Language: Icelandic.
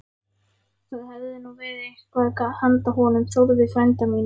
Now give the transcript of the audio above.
Það hefði nú verið eitthvað handa honum Þórði frænda mínum!